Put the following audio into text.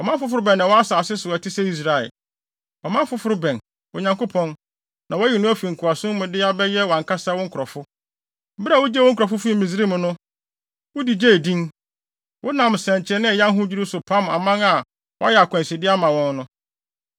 Ɔman foforo bɛn na ɛwɔ asase so a, ɛte sɛ Israel? Ɔman foforo bɛn, Onyankopɔn, na woayi no afi nkoasom mu de wɔn abɛyɛ wʼankasa wo nkurɔfo? Bere a wugyee wo nkurɔfo fii Misraim no, wode gyee din. Wonam nsɛnkyerɛnne a ɛyɛ ahodwiriw so pam aman a wɔayɛ akwanside ama wɔn no.